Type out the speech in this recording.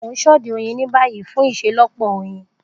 Mo n sode oyin ni bayi fun iṣelọpọ oyin.